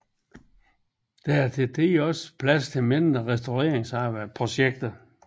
Der er til tider også plads til mindre restaureringsprojekter